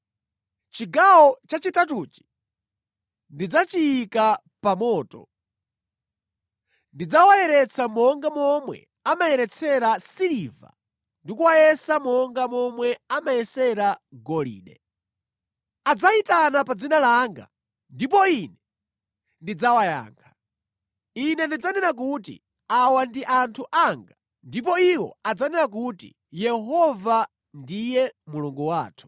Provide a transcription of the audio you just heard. Chigawo chachitatuchi ndidzachiyika pa moto; ndidzawayeretsa monga momwe amayeretsera siliva ndi kuwayesa monga momwe amayesera golide. Adzayitana pa dzina langa ndipo Ine ndidzawayankha; Ine ndidzanena kuti, ‘Awa ndi anthu anga,’ ndipo iwo adzanena kuti, ‘Yehova ndiye Mulungu wathu.’ ”